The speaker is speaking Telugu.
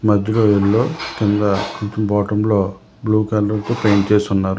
మధ్యలో కింద బాటంలో బ్లూ కలర్ కు పెయింట్ చేసి ఉన్నారు.